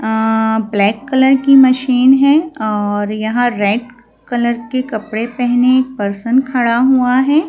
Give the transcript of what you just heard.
अ black colour की machine है और यहां रेड कलर के कपड़े पहने एक पर्सन खड़ा हुआ है।